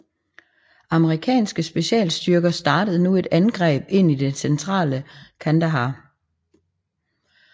Amerikanske specialstyrker startede nu et angreb ind i det centrale Kandahar